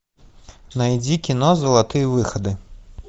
найди кино золотые выходы